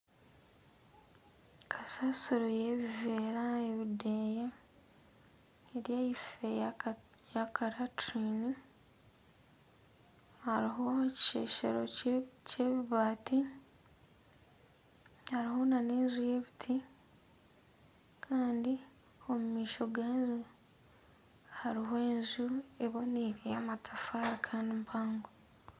Kasasiro y'ebiveera ebideeya eri ahaife y'akaraturini hariho ekisheshero kyebibaati hariho nana enju y'ebiti kandi omu maisho gaayo harimu enju eboniire y'amatafaari kandi mahango